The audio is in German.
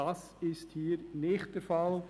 Das ist hier nicht der Fall.